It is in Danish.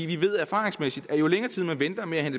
vi ved erfaringsmæssigt at jo længere tid man venter med at